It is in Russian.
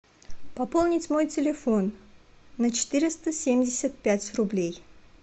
пополнить свой телефон на четыреста семьдесят пять рублей